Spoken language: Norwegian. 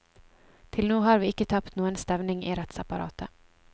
Til nå har vi ikke tapt noen stevning i rettsapparatet.